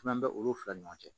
Kuma bɛɛ olu fila ɲɔgɔn cɛ